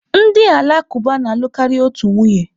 Ndị Alakụba na-alụ karịa otu nwunye.